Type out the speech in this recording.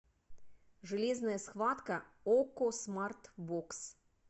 железная схватка окко смарт бокс